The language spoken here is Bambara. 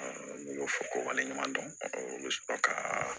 ne b'o fɔ ko wale ɲuman dɔn o bɛ sɔrɔ ka